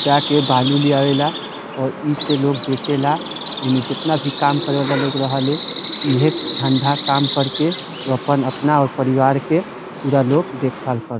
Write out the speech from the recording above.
जाके बालू ले आवे ला और इ से लोग बेचेला। इमें जितना भी काम करे वाला लोग रहेले इहे धंधा काम कर के उ अपन अपना और परिवार के पुरा लोग देखभाल कर --